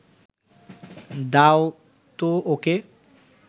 দাও তো ওকে